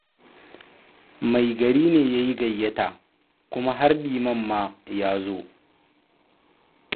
Mai gari ne ya yi gayyata, kuma har liman ma ya zo.